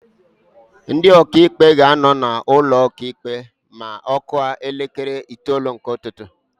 Ndị Ọkaikpe ga-anọ na ụkọ ikpe ma ọ kụọ elekere itoolu nke ụtụtụ